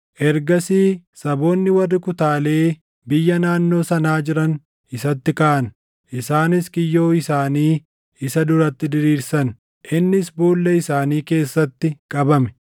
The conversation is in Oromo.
Ergasii saboonni warri kutaalee biyya naannoo sanaa jiran isatti kaʼan. Isaanis kiyyoo isaanii isa duratti diriirsan; innis boolla isaanii keessatti qabame.